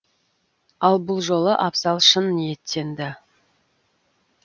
ал бұл жолы абзал шын ниеттенді